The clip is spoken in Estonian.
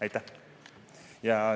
Aitäh!